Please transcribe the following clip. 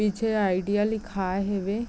पीछे आईडिया लिखाए हवे।